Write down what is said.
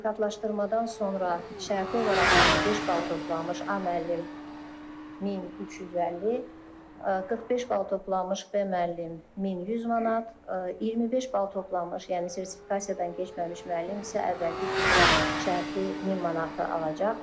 Sertifikatlaşmadan sonra şərti olaraq 55 bal toplanmış A müəllim 1350, 45 bal toplanmış B müəllim 1100 manat, 25 bal toplanmış, yəni sertifikasiyadan keçməmiş müəllim isə əvvəlki kimi şərti 1000 manatı alacaq.